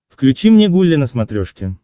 включи мне гулли на смотрешке